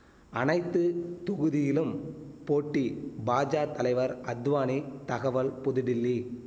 அனைத்து தொகுதியிலும் போட்டி பாஜா தலைவர் அத்வானி தகவல் புதுடில்லி